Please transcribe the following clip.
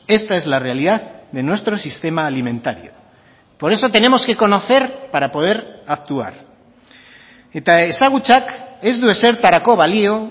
esta es la realidad de nuestro sistema alimentario por eso tenemos que conocer para poder actuar eta ezagutzak ez du ezertarako balio